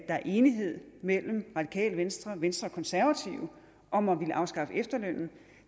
er enighed mellem radikale venstre og venstre og konservative om at ville afskaffe efterlønnen